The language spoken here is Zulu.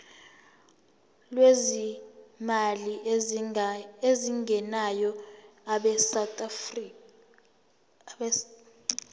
lwezimali ezingenayo abesouth